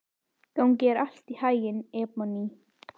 Gangi þér allt í haginn, Ebonney.